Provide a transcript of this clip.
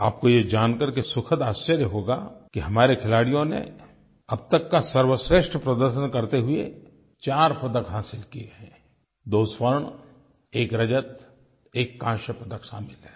आपको ये जानकर के सुखद आश्चर्य होगा कि हमारे खिलाड़ियों ने अब तक का सर्वश्रेष्ठ प्रदर्शन करते हुए 4 पदक हासिल किए हैं 2 स्वर्ण 1 रजत 1 काँस्य पदक शामिल हैं